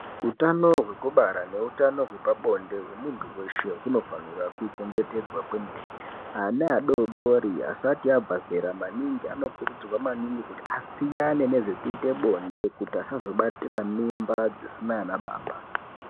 Utano hwekubara nehutano hwepabonde hwemuntu weshe hunofanirwa kuchengetedzwa kwemene. Ana adodori asati abva zera maningi, anokurudzirwa maningi kuti asiyane nezvekuite zvebonde kuti asazobatira mimba dzisina anbaba.